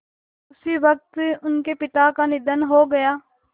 उसी वक़्त उनके पिता का निधन हो गया